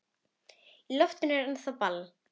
Í loftinu er ennþá ball.